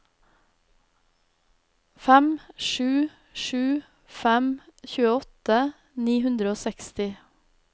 fem sju sju fem tjueåtte ni hundre og seksti